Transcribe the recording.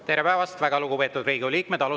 Tere päevast, väga lugupeetud Riigikogu liikmed!